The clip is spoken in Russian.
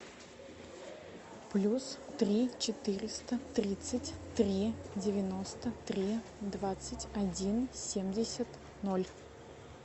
плюс три четыреста тридцать три девяносто три двадцать один семьдесят ноль